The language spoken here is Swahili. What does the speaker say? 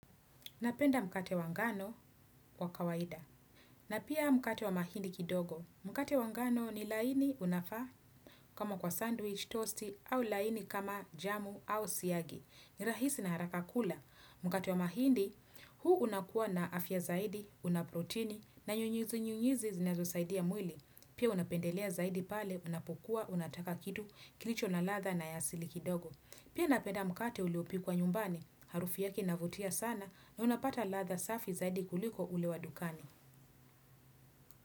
Napenda mkate wa ngano kwa kawaida. Na pia mkate wa mahindi kidogo. Mkate wa ngano ni laini unafaa kama kwa sandwich, toasti, au laini kama jamu au siyagi. Nirahisi na haraka kula. Mkate wa mahindi, huu unakua na afya zaidi, unaproteini, na nyunyizi nyunyizi zinazosaidia mwili. Pia unapendelea zaidi pale, unapukuwa, unataka kitu, kilicho na latha na yasili kidogo. Pia napenda mkate uliopikuwa nyumbani, harufi yake inavutia sana na unapata ladha safi zaidi kuliko ule wa dukani.